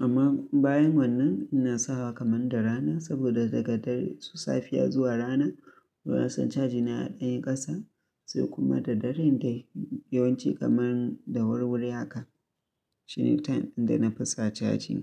amma bayan wannan ina sawa kamar da rana saboda daga dare su safiya zuwa rana, toh na son caji na ya ɗanyi ƙasa, sai kuma da dare dai yawanci kamar da wurwuri haka. Shine time inda na fi sa caji.